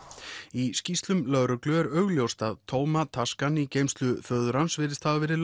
í skýrslum lögreglu er augljóst að tóma taskan í geymslu föður hans virðist hafa verið